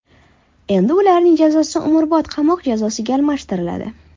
Endi ularning jazosi umrbod qamoq jazosiga almashtiriladi.